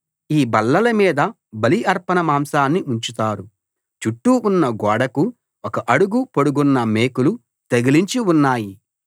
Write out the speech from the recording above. ఈ బల్లల మీద బలి అర్పణ మాంసాన్ని ఉంచుతారు చుట్టూ ఉన్న గోడకు ఒక అడుగు పొడుగున్న మేకులు తగిలించి ఉన్నాయి